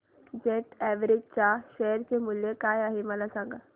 jet Airways च्या share चे मूल्य काय आहे मला सांगा